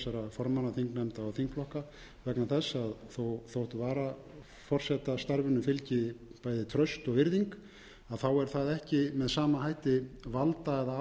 formanna þingnefnda og þingflokka vegna þess að þótt varaforsetastarfinu fylgi bæði traust og virðing er það ekki með sama hætti valda